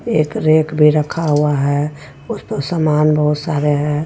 एक रैक भी रखा हुआ है उसमे सामान बहुत सारे हे.